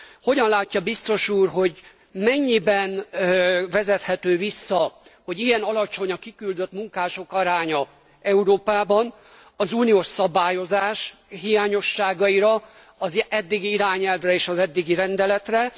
Hogyan látja biztos úr, hogy mennyiben vezethető vissza, hogy ilyen alacsony a kiküldött munkások aránya Európában az uniós szabályozás hiányosságaira, az eddigi irányelvre és az eddigi rendeletre?